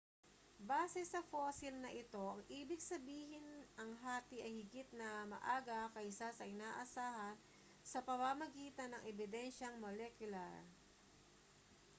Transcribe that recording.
base sa fossil na ito ang ibig sabihin ang hati ay higit na maaga kaysa sa inaasahan sa pamamagitan ng ebidensiyang molekular